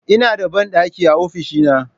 Ina da bandaki a ofishina.